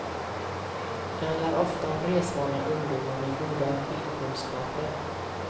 Det handlar ofta om resvana ungdomar, med goda skidkunskaper.